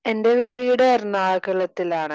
എന്റെ വീട് എറണാകുളത്തിലാണ്